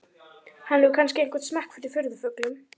Hann hefur kannski einhvern smekk fyrir furðufuglum.